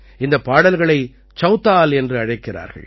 இந்தப் பாடல்களை சௌதால் என்று அழைக்கிறார்கள்